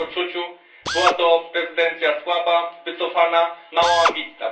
W moim odczuciu była to prezydencja słaba, wycofana, mało ambitna.